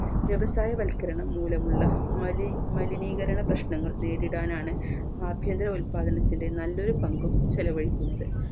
വ്യവസായ വൽക്കരണം മൂലമുള്ള മലി മലിനീകരണ പ്രശ്നങ്ങൾ നേരിടാനാണ് ആഭ്യന്തര ഉല്പാദനത്തിന്റെ നല്ലൊരു പങ്കും ചെലവഴിക്കുന്നത്